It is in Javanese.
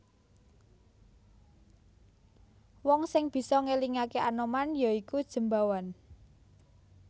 Wong sing bisa ngelingaké Anoman ya iku Jembawan